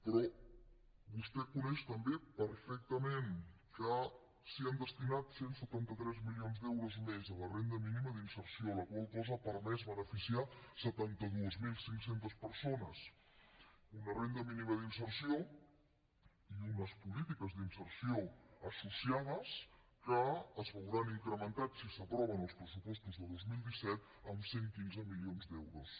però vostè coneix també perfectament que s’hi han destinat cent i setanta tres milions d’euros més a la renda mínima d’inserció la qual cosa ha permès beneficiar setanta dos mil cinc cents persones una renda mínima d’inserció i unes polítiques d’inserció associades que es veuran incrementades si s’aproven els pressupostos de dos mil disset en cent i quinze milions d’euros